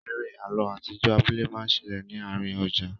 Eré àlọ atijọ abúlé ma ṣẹlẹ ní àárín ọjà.